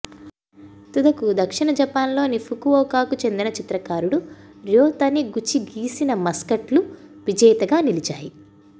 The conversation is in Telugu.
తుదకు దక్షిణ జపాన్లోని ఫుకువోకాకు చెందిన చిత్రకారుడు ర్యో తనిగుచి గీసిన మస్కట్లు విజేతగా నిలిచాయి